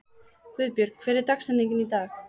Guðbjörg, hver er dagsetningin í dag?